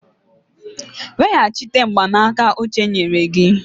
Weghachite mgbanaka uche nyere gị!